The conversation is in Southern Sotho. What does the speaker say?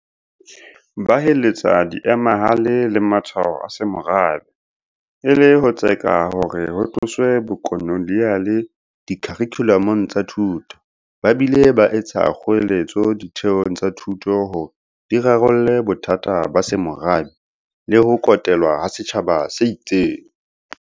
Ba heletsa diemahale le matshwao a semorabe, e le ho tseka hore ho tloswe bokoloniale dikharikhulamong tsa thuto, ba bile ba etsa kgoeletso ditheong tsa thuto hore di rarolle bothata ba semorabe le ho kotelwa ha setjhaba se itseng.